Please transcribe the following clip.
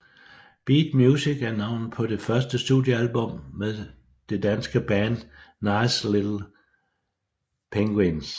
Beat Music er navnet på det første studiealbum med det danske band Nice Little Penguins